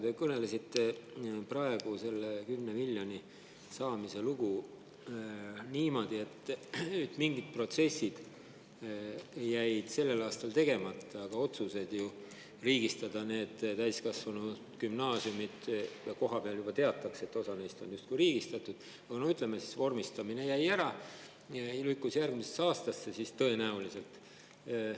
Te rääkisite praegu selle 10 miljoni saamise lugu niimoodi, et mingid protsessid jäid sel aastal tegemata, aga olid ju otsused need täiskasvanugümnaasiumid riigistada ja kohapeal juba teatakse, et osa neist on justkui riigistatud, aga ütleme, vormistamine jäi ära, lükkus tõenäoliselt järgmisesse aastasse.